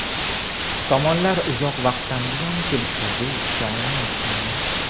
Tomonlar uzoq vaqtdan buyon kelishuvga erisha olmayotgandi.